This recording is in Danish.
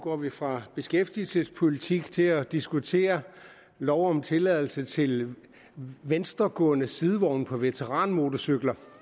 går vi fra beskæftigelsespolitik til at diskutere lov om tilladelse til venstregående sidevogne på veteranmotorcykler